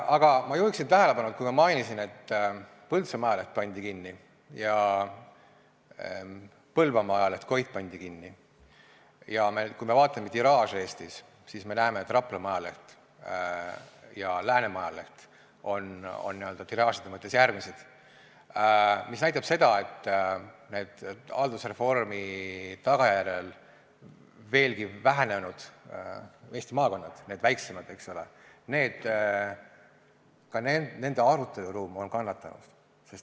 Aga ma juhin tähelepanu, et ma mainisin, et Põltsamaa ajaleht pandi kinni ja Põlvamaa ajaleht Koit pandi kinni, ja kui me vaatame tiraaže Eestis, siis me näeme, et Raplamaa ajaleht ja Läänemaa ajaleht on n-ö tiraažide mõttes järgmised, mis näitab seda, et haldusreformi tagajärjel veelgi vähenenud Eesti maakondades, nendes väiksemates, aruteluruum on kannatanud.